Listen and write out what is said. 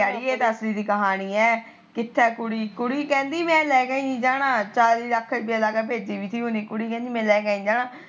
ਅੜੀਏ ਅਸਲੀ ਕਹਾਣੀ ਏ ਕੁੜੀ ਕਹਿੰਦੀ ਮੈ ਲੈਕੇ ਨੀ ਜਾਣਾ ਚਾਲੀ ਲੱਖ ਰੁਪੀਆ ਲਾਕੇ ਭੇਜੀ ਤੀ ਕੁੜੀ ਕਹਿੰਦੀ ਮੈ ਲੈਕੇ ਨੀ ਜਾਣਾ